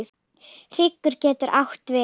Hryggur getur átt við